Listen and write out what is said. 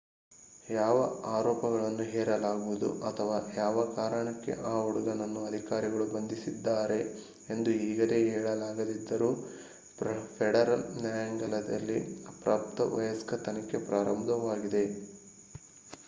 ಯಾವ ಆರೋಪಗಳನ್ನು ಹೇರಲಾಗುವುದು ಅಥವಾ ಯಾವ ಕಾರಣಕ್ಕೆ ಆ ಹುಡುಗನನ್ನು ಅಧಿಕಾರಿಗಳು ಬಂಧಿಸಿದ್ದಾರೆ ಎಂದು ಈಗಲೇ ಹೇಳಲಾಗದಿದ್ದರೂ ಫೆಡರಲ್ ನ್ಯಾಯಾಲಯದಲ್ಲಿ ಅಪ್ರಾಪ್ತ ವಯಸ್ಕ ತನಿಖೆ ಪ್ರಾರಂಭವಾಗಿದೆ